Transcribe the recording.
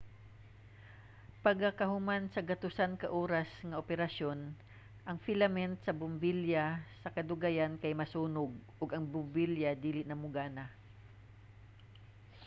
pagakahuman sa gatusan ka oras nga operasyon ang filament sa bombilya sa kadugayan kay masunog ug ang bombilya dili na mogana